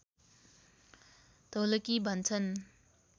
ढोलकी भन्छन्